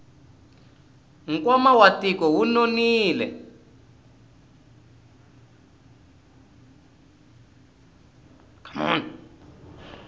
nkwama wa tiko wu nonile